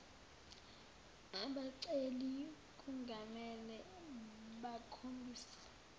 abaceli kungamele bakhombise